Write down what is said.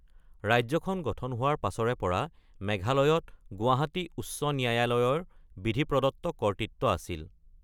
ৰাজ্যখন গঠন হোৱাৰ পাছৰে পৰা মেঘালয়ত গুৱাহাটী উচ্চ ন্যায়ালয়ৰ বিধিপ্ৰদত্ত কৰ্তৃত্ব আছিল।